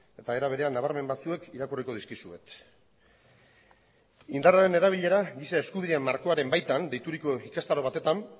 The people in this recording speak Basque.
eta era berean nabarmen batzuek irakurriko dizkizuet indarraren erabilera giza eskubideen markoaren baitan deituriko ikastaro batetan